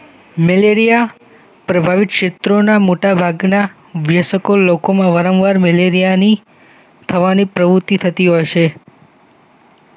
malaria પ્રભાવિત ક્ષેત્રોના મોટા ભાગના બેસકો લોકોનું વારંવાર મલેરિયાની પ્રવાહની પ્રવૃતિ થતી હોય છે